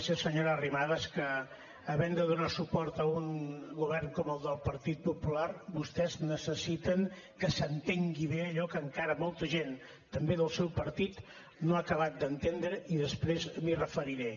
sé senyora arrimadas que havent de donar suport a un govern com el del partit popular vostès necessiten que s’entengui bé allò que encara molta gent també del seu partit no ha acabat d’entendre i després m’hi referiré